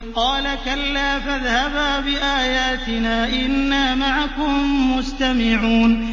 قَالَ كَلَّا ۖ فَاذْهَبَا بِآيَاتِنَا ۖ إِنَّا مَعَكُم مُّسْتَمِعُونَ